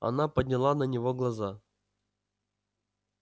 она подняла на него глаза